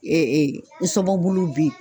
[ nsɔfɔbulu be yen.